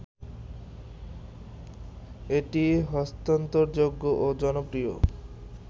এটি হস্তান্তরযোগ্য ও জনপ্রিয়